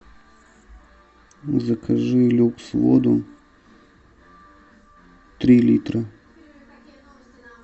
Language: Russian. закажи люкс воду три литра